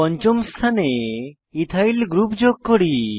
পঞ্চম স্থানে ethyl ethyl group যোগ করি